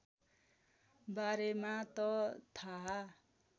बारेमा त थाहा